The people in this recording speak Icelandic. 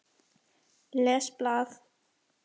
Les blað.